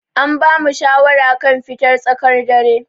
An bamu shawara kan fitar tsakar dare.